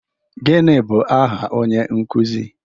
Gịnị bụ aha onye nkuzi